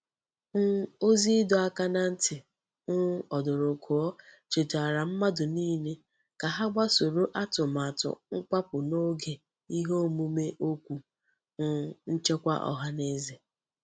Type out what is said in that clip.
um Ozi Ido aka na nti um odurukuo chetara mmadu nile ka ha gbasoro atumatu nkwapu n'oge ihe omume okwu um nchekwa ohaneze.